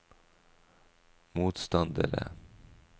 motstandere